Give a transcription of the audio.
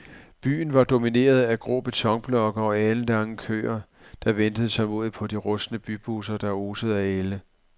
Byen var domineret af grå betonblokke og alenlange køer, der ventede tålmodigt på de rustne bybusser, der osede af ælde.